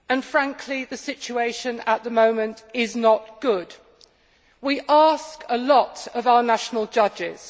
Frankly, the situation at the moment is not good. We ask a lot of our national judges.